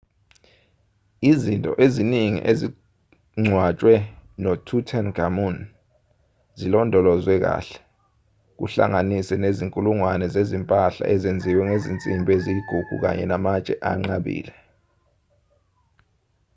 izinto eziningi ezingcwatshwe notutankhamun zilondolozwwe kahle kuhlanganise nezinkulungwane zezimpahla ezenziwe ngezinsimbi eziyigugu kanye namatshe anqabile